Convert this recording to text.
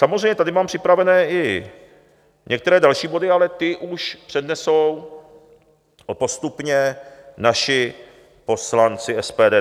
Samozřejmě tady mám připravené i některé další body, ale ty už přednesou postupně naši poslanci SPD.